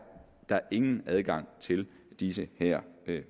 der ingen adgang til de her